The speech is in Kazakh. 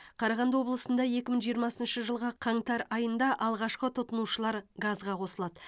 қарағанды облысында екі мың жиырмасыншы жылғы қаңтар айында алғашқы тұтынушылар газға қосылады